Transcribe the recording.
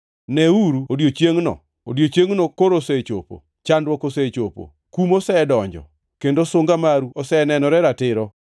“ ‘Neuru odiechiengʼno! Odiechiengno koro osechopo! Chandruok osechopo, kum osedonjo, kendo sunga maru osenenore ratiro!